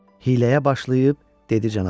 Hiləyə başlayıb dedi canavar: